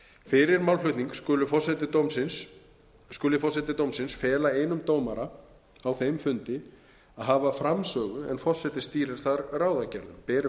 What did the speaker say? fyrir málflutning skal forseti dómsins fela einum dómara á þeim fundi að hafa framsögu en forseti stýrir þar ráðagerðum ber fram